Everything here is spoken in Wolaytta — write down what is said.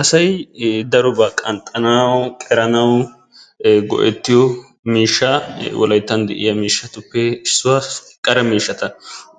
asay darobaa qanxxanawu, qeranawu, go'ettiyoo miishsha. wolayittan diya miishshatuppe issuwa. qara miishshata